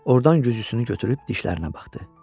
Ordan güzgüsünü götürüb dişlərinə baxdı.